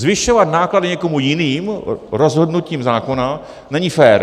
Zvyšovat náklady někomu jinému rozhodnutím zákona není fér.